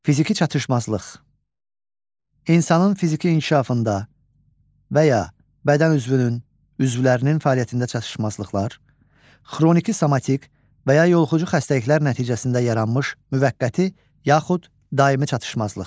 Fiziki çatışmazlıq: İnsanın fiziki inkişafında və ya bədən üzvünün, üzvlərinin fəaliyyətində çatışmazlıqlar, xroniki, somatik və ya yoluxucu xəstəliklər nəticəsində yaranmış müvəqqəti, yaxud daimi çatışmazlıq.